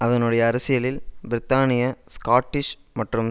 அதனுடைய அரசியலில் பிரித்தானிய ஸ்காட்டிஷ் மற்றும்